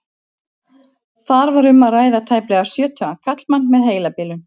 Þar var um að ræða tæplega sjötugan karlmann með heilabilun.